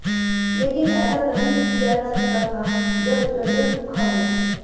लेकिन ऐसा तभी किया जा सकता था जब स्वेटर सूखा हो